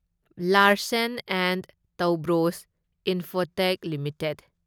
Larsen and Toubro Infotech limited